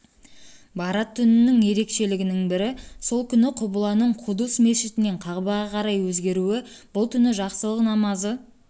бәраат түнінің ерекшелігінің бірі сол күні құбыланың қудус мешітінен қағбаға қарай өзгеруі бұл түні жақсылық намазы